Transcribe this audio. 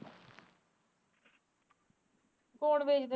ਕੋਣ ਵੇਚ ਦਿੰਦੇ